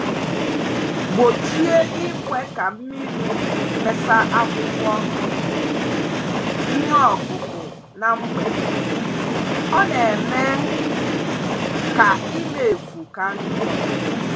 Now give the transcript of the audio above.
Gbochie ikwe ka mmírí Mesa akwụkwọ um iheọkụkụ na mgbede, ọ na -eme ka ima evu ka njọ.